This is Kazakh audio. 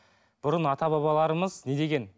бұрын ата бабаларымыз не деген